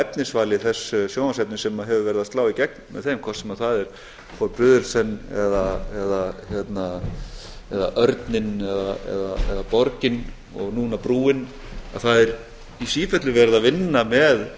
á efnisvalinu þess sjónvarpsefnis sem hefur verið að slá í gegn með þeim hvort sem það er forbrydelsen eða örninn eða borgin og núna brúin að það er í sífellu verið að vinna með